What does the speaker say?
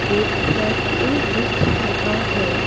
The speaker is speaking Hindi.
एक फैक्ट्री दिख रहा है।